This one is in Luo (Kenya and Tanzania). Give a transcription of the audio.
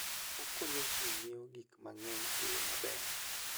Okonyo ji ng'iewo gik mang'eny e yo maber.